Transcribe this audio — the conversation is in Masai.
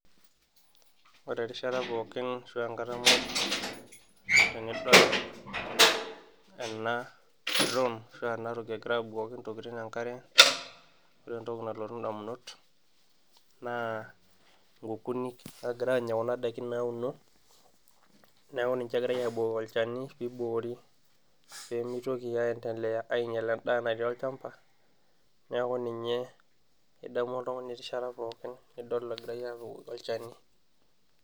ore erishata pookin ashua enkata muj tenidol ena drone ashua enatoki egira abukoki intokitin enkare ore entoki nalotu indamunot naa inkukunik naagira aanya kuna daiki nauno neeku ninche egiray aabukoki olchani piiboori peemitoki ae endeleya ainyial endaa natii olchamba neeku ninye idamu oltung'ani erishata pookin nidol egiray apik olchani.